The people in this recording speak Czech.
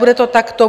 Bude to takto.